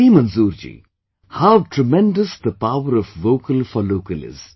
See Manzoor ji, how tremendous the power of Vocal for Local is